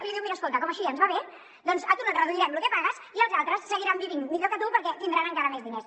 i li diu mira escolta com que així ja ens va bé a tu no et reduirem lo que pagues i els altres seguiran vivint millor que tu perquè tindran encara més diners